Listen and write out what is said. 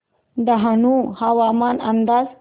डहाणू हवामान अंदाज